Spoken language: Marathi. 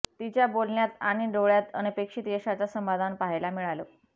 तिच्या बोलण्यात आणि डोळय़ांत अनपेक्षित यशाचं समाधान पाहायला मिळालं